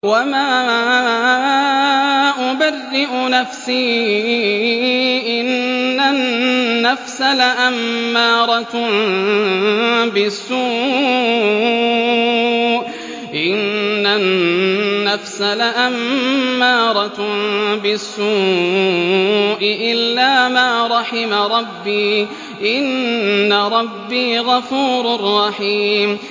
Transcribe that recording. ۞ وَمَا أُبَرِّئُ نَفْسِي ۚ إِنَّ النَّفْسَ لَأَمَّارَةٌ بِالسُّوءِ إِلَّا مَا رَحِمَ رَبِّي ۚ إِنَّ رَبِّي غَفُورٌ رَّحِيمٌ